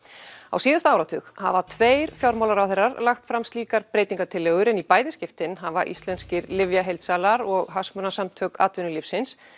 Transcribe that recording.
á síðasta áratug hafa tveir fjármálaráðherrar lagt fram slíkar breytingatillögur en í bæði skiptin hafa íslenskir lyfjaheildsalar og Hagsmunasamtök atvinnulífsins